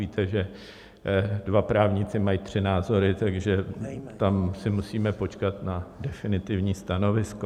Víte, že dva právníci mají tři názory, takže tam si musíme počkat na definitivní stanovisko.